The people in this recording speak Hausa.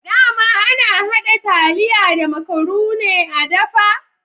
Dama ana hada taliya da makarune a dafa?